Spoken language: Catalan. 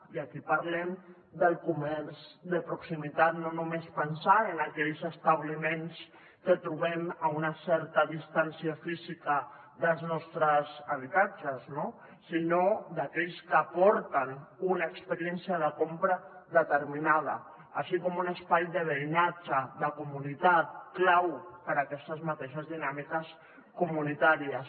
i aquí parlem del comerç de proximitat no només pensant en aquells establiments que trobem a una certa distància física dels nostres habitatges no sinó d’aquells que aporten una experiència de compra determinada així com un espai de veïnatge de comunitat clau per a aquestes mateixes dinàmiques comunitàries